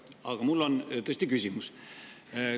Aga mul on tõesti küsimus.